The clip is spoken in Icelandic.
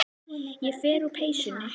Ég fer úr peysunni.